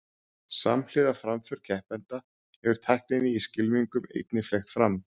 samhliða framför keppenda hefur tækninni í skylmingum einnig fleygt fram